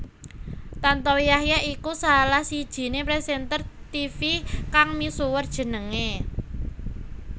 Tantowi Yahya iku salah sijiné presenter tivi kang misuwur jenengé